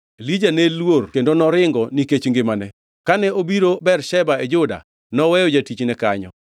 Elija ne luor kendo noringo nikech ngimane. Kane obiro Bersheba e Juda, noweyo jatichne kanyo,